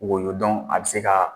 Woyo a bɛ se ka